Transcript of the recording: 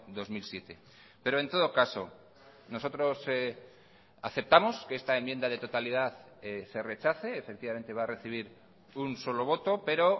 dos mil siete pero en todo caso nosotros aceptamos que esta enmienda de totalidad se rechace efectivamente va a recibir un solo voto pero